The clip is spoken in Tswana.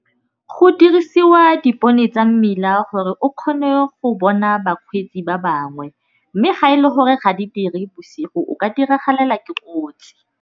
Go dirisiwa dipone tsa mmila gore o kgone go bona bakgweetsi ba bangwe, mme ga e le gore ga di dire bosigo o ka diragalela ke kotsi.